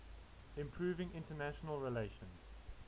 improving international relations